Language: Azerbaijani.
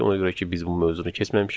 Ona görə ki, biz bu mövzunu keçməmişik.